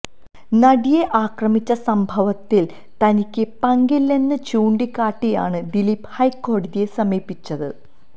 നടിയെ ആക്രമിച്ച സംഭവത്തില് തനിക്ക് പങ്കില്ലെന്ന് ചൂണ്ടിക്കാട്ടിയാണ് ദിലീപ് ഹൈക്കോടതിയെ സമീപിച്ചത്